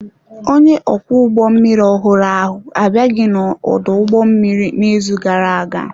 Onye ọkwọ ụgbọ mmiri ọhụrụ ahụ abịaghị n'ọdụ ụgbọ mmiri n'izu gara aga.